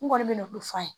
N kɔni bɛ ne bolo f'a ye